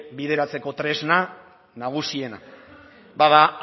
bideratzeko tresna nagusiena bada